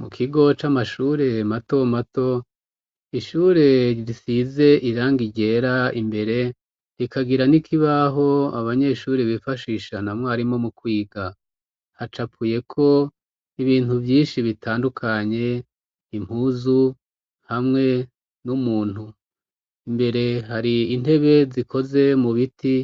Mu kigo c'amashure mato mato, ishure risize irangi ryera imbere, rikagira n'ikibaho abanyeshuri bifashisha na mwarimu mu kwiga, hacapuyeko ibintu vyinshi bitandukanye ,impuzu hamwe n'umuntu ,imbere hari intebe zikoze mu biti